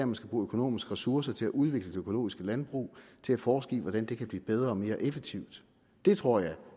man skal bruge økonomiske ressourcer til at udvikle det økologiske landbrug til at forske i hvordan det kan blive bedre og mere effektivt det tror jeg